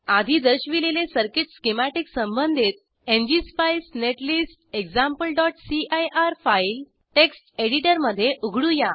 आधी दर्शविलेले circuit schematic संबंधित एनजीएसपाईस नेटलिस्ट exampleसीआयआर फाईल टेक्स्ट एडिटरमध्ये उघडूया